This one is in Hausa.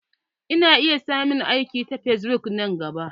Ina iya samun aiki ta fesbuk nan gaba.